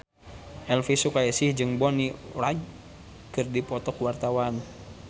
Elvy Sukaesih jeung Bonnie Wright keur dipoto ku wartawan